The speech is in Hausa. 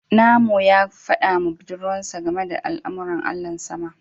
Namo ya gaya wa budurwarsa game da al'amuran Allahn sama